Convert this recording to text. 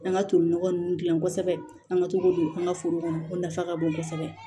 An ka toli nɔgɔ nun gilan kosɛbɛ an ka to k'o don an ka foro kɔnɔ o nafa ka bon kosɛbɛ